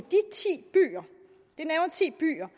ti byer